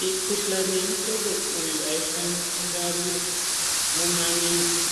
Mikhuhlani yemuhlobo uyu aifaniri kungwarirwa mumamizi